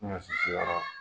Bɛ na sigi sigi yɔrɔ.